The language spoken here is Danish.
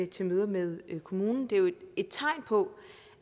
til møder med kommunen det er jo et tegn på